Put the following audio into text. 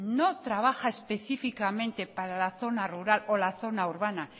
no trabaja específicamente para la zona rural o la zona urbana